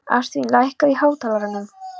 Ástvin, lækkaðu í hátalaranum.